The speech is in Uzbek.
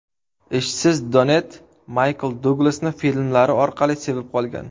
Ishsiz Donett Maykl Duglasni filmlari orqali sevib qolgan.